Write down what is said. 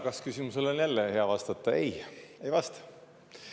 Kas-küsimusele on jälle hea vastata: ei, ei vasta tõele.